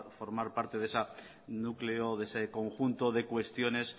formar parte de ese núcleo de ese conjunto de cuestiones